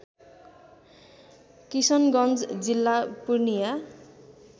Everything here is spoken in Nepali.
किशनगञ्ज जिल्ला पूर्णिया